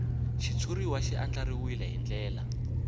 xitshuriwa xi andlariwile hi ndlela